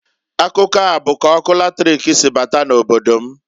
Akụkọ a bụ k'ọkụ latrik si bata na obodo m.